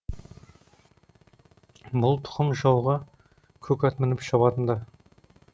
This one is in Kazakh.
бұл тұқым жауға көк ат мініп шабатынды